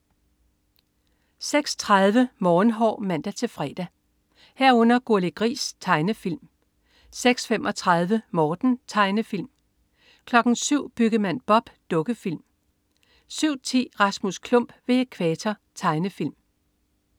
06.30 Morgenhår (man-fre) 06.30 Gurli Gris. Tegnefilm (man-fre) 06.35 Morten. Tegnefilm (man-fre) 07.00 Byggemand Bob. Dukkefilm (man-fre) 07.10 Rasmus Klump ved Ækvator. Tegnefilm